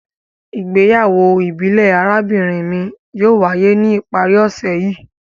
Igbeyawo ibile arabinrin mi yóò waye ni ipari ose yii